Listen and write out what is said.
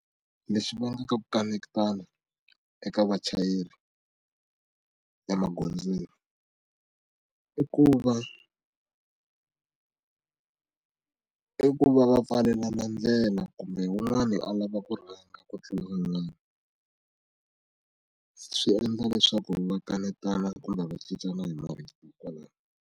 Leswi va nga ka ku kanetana eka vachayeri ya magondzweni i ku va i ku va va pfalelana ndlela kumbe wun'wani a lava ku rhanga ku tlula wun'wana swi endla leswaku va kanetana kumbe va cincana hi marito kwalaho.